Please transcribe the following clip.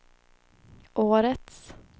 årets